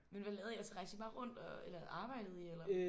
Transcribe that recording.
Men hvad lavede I altså rejste I bare rundt og eller arbejdede I eller?